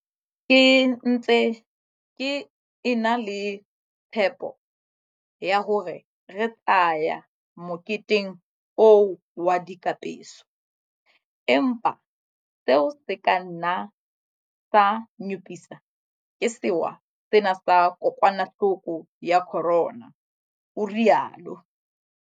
Ke ntse ke e na le tshepo ya hore re tla ya moketeng oo wa dikapeso, empa seo se ka nna sa nyopiswa ke sewa sena sa kokwanahloko ya corona, o rialo.